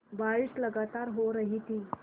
बारिश लगातार हो रही थी